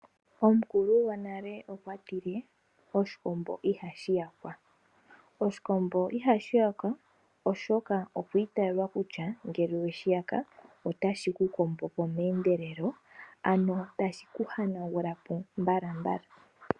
Omukulu gonale okwatile "oshikombo ihashi yakwa". Oshikombo ohashi yakwa oshoka okwiitayelwa kutya ngele weshi yaka otashi ku kombo po meendelelo ank tashi ku hanagula po mbalambala.